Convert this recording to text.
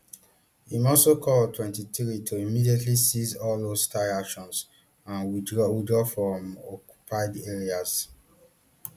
im also call on mtwenty-three to immediately cease all hostile actions and withdraw withdraw from occupied areas